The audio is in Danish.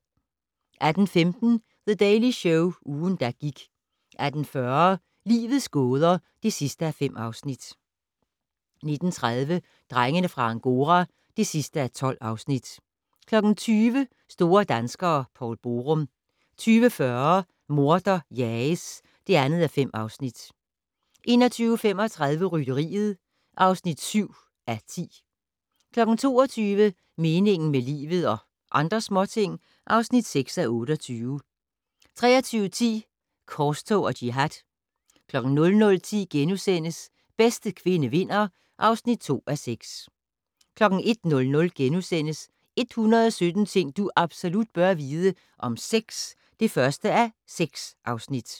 18:15: The Daily Show - ugen, der gik 18:40: Livets gåder (5:5) 19:30: Drengene fra Angora (12:12) 20:00: Store danskere - Poul Borum 20:40: Morder jages (2:5) 21:35: Rytteriet (7:10) 22:00: Meningen med livet - og andre småting (6:28) 23:10: Korstog og jihad 00:10: Bedste kvinde vinder (2:6)* 01:00: 117 ting du absolut bør vide - om sex (1:6)*